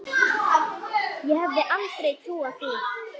Ég hefði aldrei trúað því.